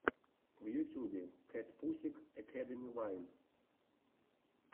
в ютюбе кэтпусик экэдэми вайн